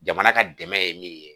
Jamana ka dɛmɛ ye min ye